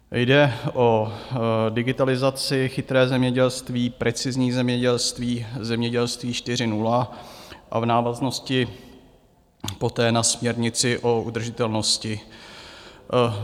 Jde o digitalizaci, chytré zemědělství, precizní zemědělství, Zemědělství 4.0 a v návaznosti poté na směrnici o udržitelnosti.